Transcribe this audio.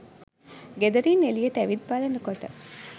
ගෙදරින් එළියට ඇවිත් බලනකොට